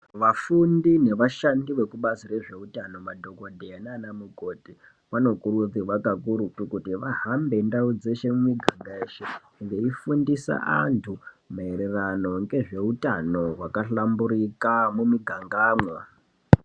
Vafundi nevashandi vekubazi rezveutano madhogodheya nana mukoti vanokurudzirwa kakurutu kuti vahambe ndau dzishe mumiganga yeshe veifundisa anthu mairirano ngezveutano hwakahlamburika mumigangamwo.